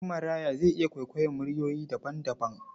Ɗanmaraya zai iya kwaikwayon muryoyi daban-daban.